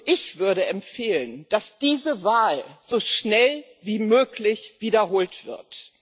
Ich würde empfehlen, dass diese Wahl so schnell wie möglich wiederholt wird.